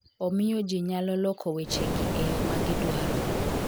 Omiyo ji nyalo loko weche gi e yo ma gidwaro".